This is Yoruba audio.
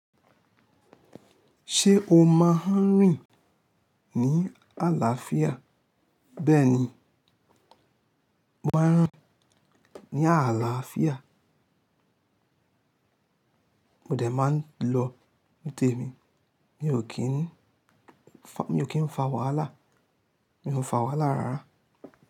Ṣé o máa ń rìn ní àlàáfíà? Bẹ́ẹ̀ni, mo máa ń rìn ní àlàáfíà, mo dẹ̀ máa ń lọ ní tèmi, mi ò kí ń, mi ò kí ń fa wàhálà, mi ò fa wàhálà rárá.